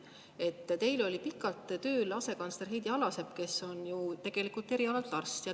Teil oli pikalt tööl asekantsler Heidi Alasepp, kes on ju tegelikult erialalt arst.